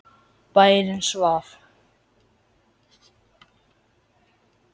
Bærinn svaf.